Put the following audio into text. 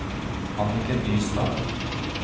Anniken Nystad